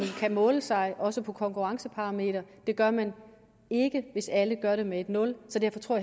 kan måle sig også på konkurrenceparameter det gør man ikke hvis alle gør det med nul så derfor tror